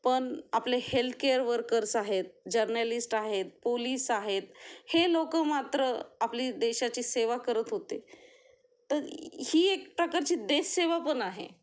पण आपले health care workers आहेत, जर्नलिस्ट आहेत, पोलीस आहेत, हे लोक मात्र आपली देशाची सेवा करत होते, ही एक प्रकारची देश सेवा पण आहे.